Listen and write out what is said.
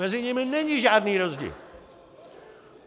Mezi nimi není žádný rozdíl.